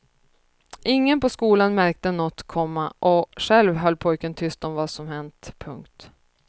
Ingen på skolan märkte något, komma och själv höll pojken tyst om vad som hänt. punkt